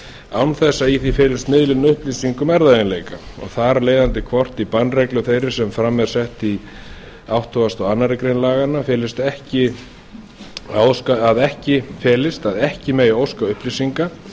án þess að í því felist miðlun upplýsinga um erfðaeiginleika og þar af leiðandi hvar bannreglu þeirri sem fram er sett í áttugasta og aðra grein felist að ekki megi óska upplýsinga